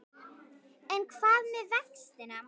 En hvað með vextina?